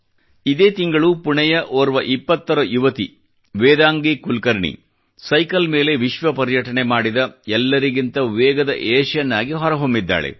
ಇದೇ ತಿಂಗಳು ಪುಣೆಯ ಓರ್ವ 20ರ ವಯಸ್ಸಿನ ಯುವತಿ ವೇದಾಂಗಿ ಕುಲ್ಕರ್ಣಿ ಸೈಕಲ್ ಮೇಲೆ ವಿಶ್ವ ಪರ್ಯಟನೆ ಮಾಡಿದ ಎಲ್ಲರಿಗಿಂತ ವೇಗದ ಏಷಿಯನ್ ಆಗಿ ಹೊರಹೊಮ್ಮಿದ್ದಾಳೆ